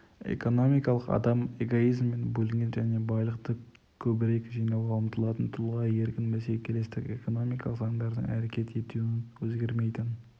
экономикалық адам эгоизммен бөлінген және байлықты көбірек жинауға ұмтылатын тұлға еркін бәсекелестік экономикалық заңдардың әрекет етуінің өзгермейтін